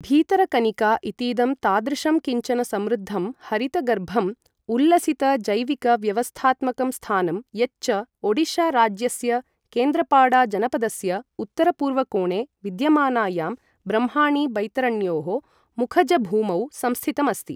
भीतरकनिका इतीदं तादृशं किञ्चन समृद्धं, हरितगर्भम्, उल्लसितजैविकव्यवस्थात्मकं स्थानं यच्च ओडिशाराज्यस्य केन्द्रपाड़ाजनपदस्य उत्तरपूर्वकोणे विद्यमानायां ब्रह्माणी बैतरण्योः मुखजभूमौ संस्थितम् अस्ति।